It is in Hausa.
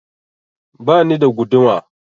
Bani da guduma